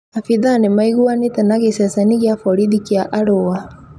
Abitha nĩ maiguanĩte na giceceni gĩa borithi kĩa Arũa